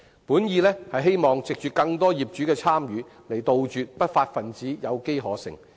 本意是希望藉着更多業主的參與，杜絕不法分子有機可乘。